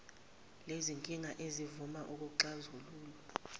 lezinkinga ezifuna ukuxazululwa